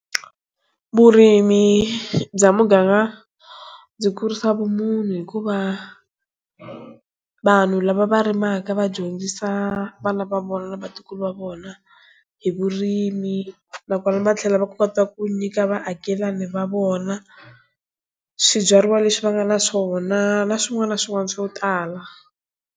Vurimi bya muganga ndzi kurisa vumunhu hikuva vanhu lava va rimaka va dyondzisa vana va vona na vatukulu va vona vona hi vurimi nakona va tlhela va kota ku nyika vaakelani va vona swibyariwa leswi va nga na swona na swin'wana na swin'wana swo tala.